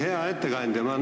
Hea ettekandja!